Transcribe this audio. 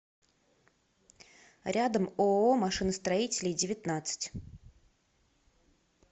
рядом ооо машиностроителей девятнадцать